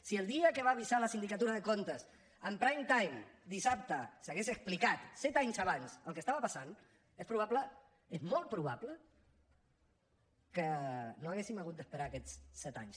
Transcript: si el dia que va avisar la sindicatura de comptes en prime time dissabte s’hagués explicat set anys abans el que estava passant és probable és molt probable que no hauríem hagut d’esperar aquests set anys